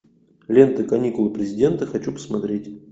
лента каникулы президента хочу посмотреть